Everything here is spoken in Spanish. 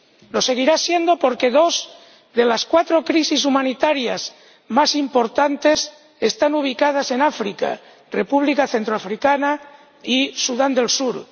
Lo seguirá siendo porque dos de las cuatro crisis humanitarias más importantes están ubicadas en África ―República Centroafricana y Sudán del Sur―.